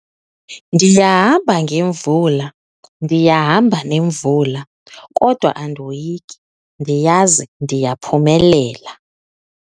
Ndiyahamba ngemvula, ndiyahamba nemvula kodwa andoyiki ndiyazi ndiyaphumelela.